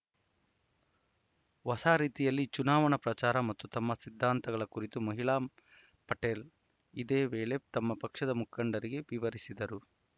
ಹೊಸ ರೀತಿಯಲ್ಲಿ ಚುನಾವಣಾ ಪ್ರಚಾರ ಮತ್ತು ತಮ್ಮ ಸಿದ್ಧಾಂತಗಳ ಕುರಿತು ಮಹಿಮಾ ಪಟೇಲ್‌ ಇದೇ ವೇಳೆ ತಮ್ಮ ಪಕ್ಷದ ಮುಖಂಡರಿಗೆ ವಿವರಿಸಿದರು